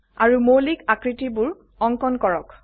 আৰু মৌলিক আকৃতিবোৰ অঙ্কন কৰক